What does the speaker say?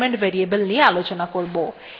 এইটি বর্তমান শেলের name সংরক্ষণ করে